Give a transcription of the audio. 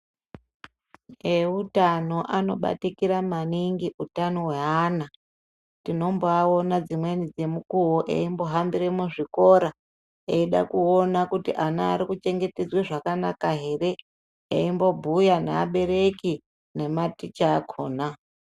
Eutano anobatikira maningi utano hweana tinombaona dzimweni dzenguwa eihambira muzvikoro eida kuona kuti ana ari kuchengetedzwe zvakanaka here eimbobhuya nevabereki nematicha akona.